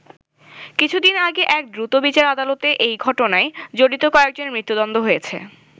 কিছুদিন আগে এক দ্রুতবিচার আদালতে ওই ঘটনায় জড়িত কয়েকজনের মৃত্যুদণ্ড হয়েছে।